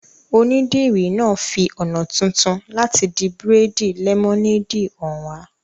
Onídìrí náà fi ọ̀nà tuntun láti di bírèèdì lẹ́mọ́néèdì hàn wá